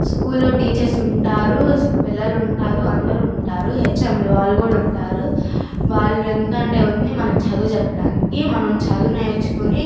School లో teachers ఉంటారు పిల్లలుంటారు అందరుంటారు హెచ్_ఎం లు వాలు కూడా ఉంటారు . వాలు ఎందుకంటే ఉన్నదీ మనకి చదువు చెప్పటానికి మనం చదువు నేర్చుకుని--